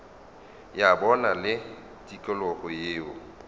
ya bona le tikologo yeo